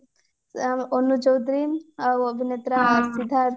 ଅ ଅନୁ ଚୌଧୁରୀ ଆଉ ଅଭିନେତ୍ରା ସିଦ୍ଧାନ୍ତ